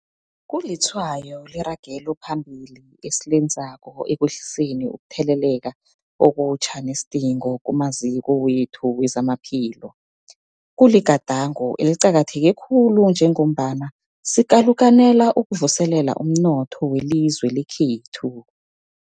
Kulitshwayo leragelo phambili esilenzako ekwehliseni ukutheleleka okutjha nesidingo kumaziko wethu wezamaphilo. Kuligadango eliqakatheke khulu njengombana sikalukanela ukuvuselela umnotho welizwe lekhethu.